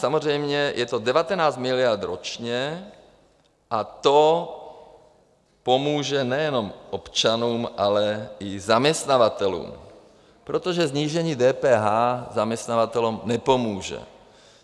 Samozřejmě, je to 19 miliard ročně a to pomůže nejenom občanům, ale i zaměstnavatelům, protože snížení DPH zaměstnavatelům nepomůže.